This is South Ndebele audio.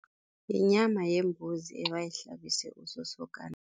Yinyama yembuzi ebayihlabise usosokana.